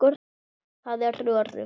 Það er öruggt.